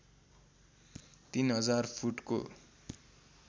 ३००० फुटको